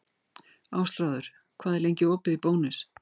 Ástráður, hvað er lengi opið í Bónus?